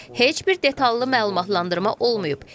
Heç bir detallı məlumatlandırma olmayıb.